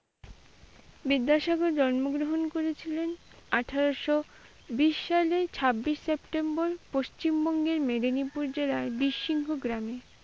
বিদ্যাসাগর জন্মগ্রহণ করেছিলেন জন্মগ্রহন করেছিলেন আঠারশো বিশসালে ছাব্বিশ septmber পশ্চিমবঙ্গের মেদিনীপুর জেলার বিসীর্ণ গ্রামে।